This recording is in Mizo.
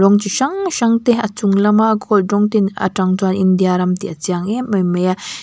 rawng chi hrang hrang te a chung lama gold rawng ten atang chuan india ram tih a chiang em em mai a.